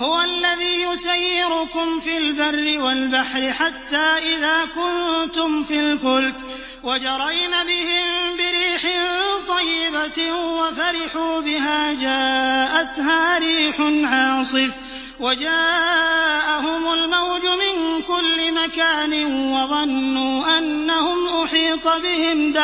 هُوَ الَّذِي يُسَيِّرُكُمْ فِي الْبَرِّ وَالْبَحْرِ ۖ حَتَّىٰ إِذَا كُنتُمْ فِي الْفُلْكِ وَجَرَيْنَ بِهِم بِرِيحٍ طَيِّبَةٍ وَفَرِحُوا بِهَا جَاءَتْهَا رِيحٌ عَاصِفٌ وَجَاءَهُمُ الْمَوْجُ مِن كُلِّ مَكَانٍ وَظَنُّوا أَنَّهُمْ أُحِيطَ بِهِمْ ۙ